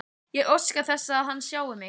Ég óska þess að hann sjái mig.